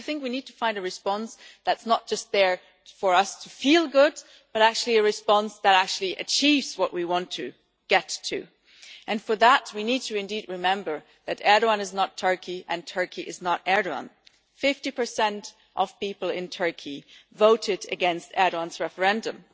Because I think we need to find a response that is not just there for us to feel good but a response that actually achieves what we want to get to, and for that we need to indeed remember that Erdoğan is not Turkey and Turkey is not Erdoğan. 50 of people in Turkey voted against Erdoğan's referendum,